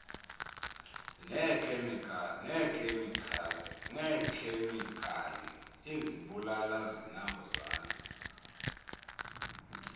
neekhemikali izibulala zinambuzane